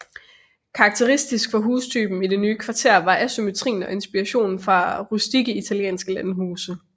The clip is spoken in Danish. Karakteristisk for hustypen i det nye kvarter var asymmetrien og inspirationen fra rustikke italienske landhuse